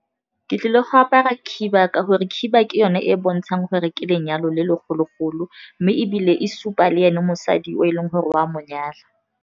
Ke tlile go apara khiba ka gore khiba ke yone e e bontshang gore ke lenyalo le le golo-golo, mme ebile e supa le ene mosadi o e leng gore o a monyala.